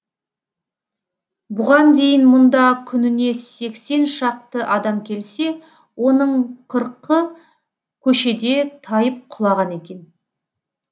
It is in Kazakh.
бұған дейін мұнда күніне сексен шақты адам келсе оның қырқы көшеде тайып құлаған екен